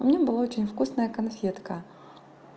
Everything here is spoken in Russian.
у меня была очень вкусная конфетка